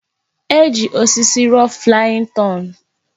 E ji osisi rụọ flayin ton